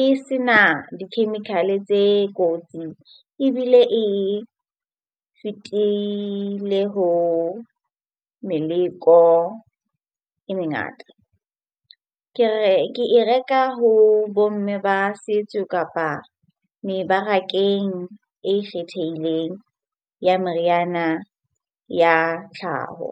e se na di-chemical-e tse kotsi, ebile e fetile ho meleko e mengata. Ke re, ke e reka ho bo mme ba setso kapa mebarakeng e ikgetheileng ya meriana ya tlhaho.